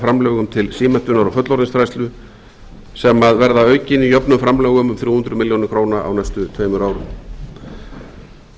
framlögum til símenntunar og fullorðinsfræðslu sem verða aukin í jöfnum framlögum um þrjú hundruð milljóna króna á næstu tveimur árum